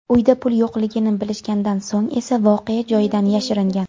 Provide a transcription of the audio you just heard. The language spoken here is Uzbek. Uyda pul yo‘qligini bilishgandan so‘ng esa voqea joyidan yashiringan.